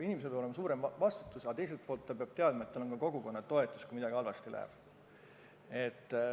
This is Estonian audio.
Inimesel peab olema suurem vastutus, aga teiselt poolt ta peab teadma, et tal on kogukonna toetus, kui midagi halvasti läheb.